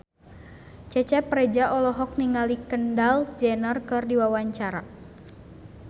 Cecep Reza olohok ningali Kendall Jenner keur diwawancara